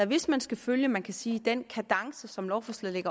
hvis man skal følge man kan sige den kadence som lovforslaget